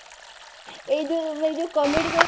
ଏଇ ଯୋଉ ମୁଁ ଏଇ ଯାଉ comedy କରେନି